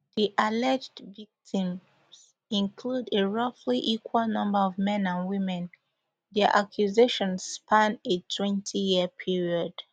di alleged victims include a roughly equal number of men and women dia accusations span a twentyyear period